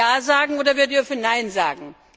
Wir dürfen Ja sagen oder wir dürfen Nein sagen.